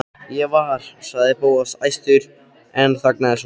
Ég var. sagði Bóas æstur en þagnaði svo.